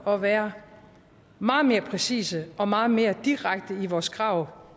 at være meget mere præcise og meget mere direkte i vores krav